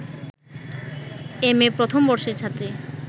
MA প্রথম বর্ষের ছাত্রী